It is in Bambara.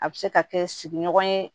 A bɛ se ka kɛ sigiɲɔgɔn ye